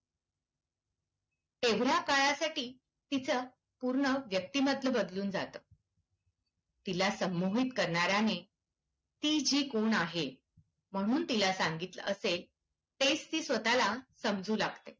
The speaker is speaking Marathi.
तेवढ्या काळासाठी तिचं पूर्ण व्यक्तिमत्व बदलून जाते. तिला संमोहित करणाऱ्याने ती जी कोण आहे, म्हणून तिला सांगितलं असेल तेच ती स्वतःला समजू लागते.